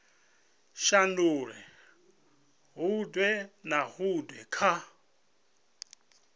shandula huṅwe na huṅwe kha